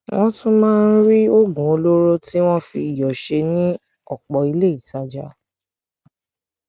wọn tún máa ń rí oògùn olóró tí wọn fi iyọ ṣe ní ọpọ ilé ìtajà